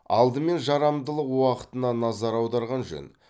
алдымен жарамдылық уақытына назар аударған жөн